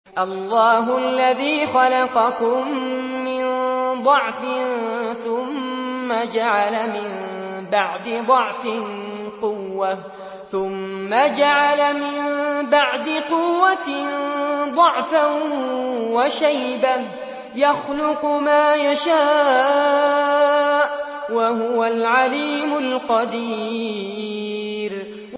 ۞ اللَّهُ الَّذِي خَلَقَكُم مِّن ضَعْفٍ ثُمَّ جَعَلَ مِن بَعْدِ ضَعْفٍ قُوَّةً ثُمَّ جَعَلَ مِن بَعْدِ قُوَّةٍ ضَعْفًا وَشَيْبَةً ۚ يَخْلُقُ مَا يَشَاءُ ۖ وَهُوَ الْعَلِيمُ الْقَدِيرُ